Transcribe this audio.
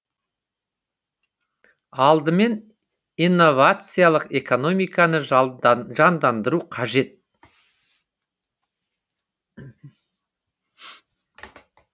алдымен инновациялық экономиканы жандандыру қажет